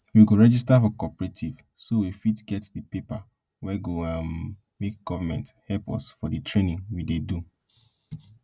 we go register for cooperative so we fit get the paper wey go um make government help us for the training we dey do